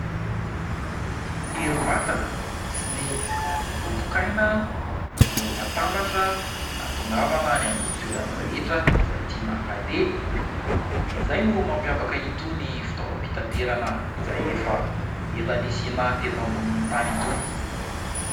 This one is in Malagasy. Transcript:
Ny herim-batana sy ny vovok'aina no atambatra hahatongavana any amin'ny toerana rehetra izay tiana aleha ; izay no mampiavaka itony fitaovam-pitaterana izay efa ela nisiana teto ambonin'ny tany itony.